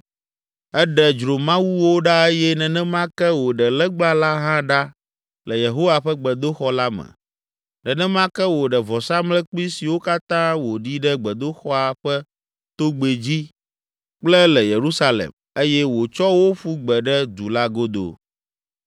Eɖe dzromawuwo ɖa eye nenema ke wòɖe legba la hã ɖa le Yehowa ƒe gbedoxɔ la me. Nenema ke wòɖe vɔsamlekpui siwo katã wòɖi ɖe gbedoxɔa ƒe togbɛ dzi kple le Yerusalem eye wòtsɔ wo ƒu gbe ɖe du la godo.